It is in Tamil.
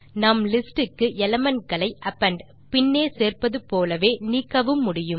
நாம் லிஸ்ட் க்கு எலிமெண்ட் களை அப்பெண்ட் - பின்னே சேர்ப்பது போலவே நீக்கவும் முடியும்